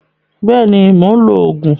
Bẹ́ẹ̀ni, mò ń lo Ògùn